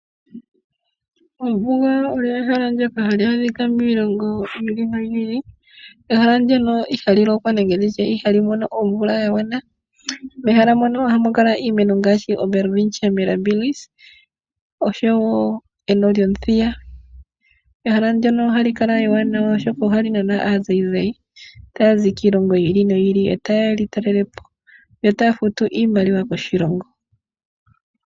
Ombuga oyo ehela ndyoka hali adhika miilongo yi ili noyi ili. Ehala ndyoka ihali lokwa nenge ndi tye ihali mono omvula ya gwana. Mehala mono ohamu kala iimeno ngaashi oWelwitchia Mirabilis oshowo eno lyomuthiya. Ehala ndyono ohali kala ewanawa, oshoka ohali nana aazayizayi taya zi kiilongo yi ili noyi ili e taye ya ye li talelepo yo taa futu iimaliwa koshilongo.